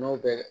N'o bɛ